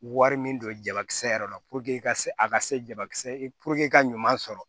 Wari min don jabakisɛ yɛrɛ la i ka se a ka se jabakisɛ ka ɲuman sɔrɔ